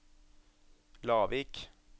Lavik